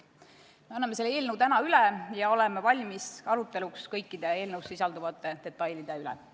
Me anname selle eelnõu täna üle ja oleme valmis aruteluks kõikide eelnõus sisalduvate detailide üle.